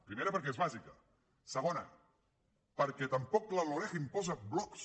primera perquè és bàsica segona perquè tampoc la loreg imposa blocs